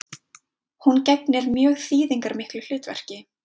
Hún gegnir mjög þýðingarmiklu hlutverki